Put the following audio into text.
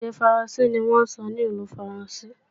Èdè Faransé ni wọ́n ń sọ ní ìlú Faransé